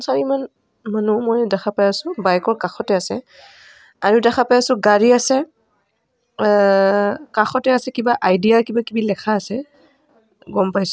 চাৰিমান মানুহ মই দেখা পাই আছোঁ বেইক ৰ কাষতে আছে আৰু দেখা পাই আছোঁ গাড়ী আছে আ কাষতে কিবা আইদিয়া কিবা কিবি লেখা আছে গম পাইছোঁ.